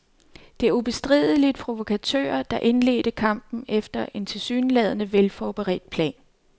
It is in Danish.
Det er ubestrideligt provokatører, der indledte kampen efter en tilsyneladende velforberedt plan.